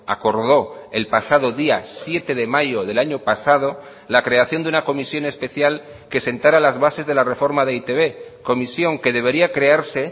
acordó el pasado día siete de mayo del año pasado la creación de una comisión especial que sentara las bases de la reforma de e i te be comisión que debería crearse